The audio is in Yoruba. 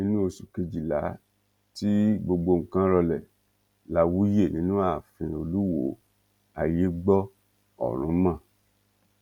nínú oṣù kejìlá tí gbogbo nǹkan rọlẹ la wuye nínú ààfin olùwọọ ayé gbọ ọrun mọ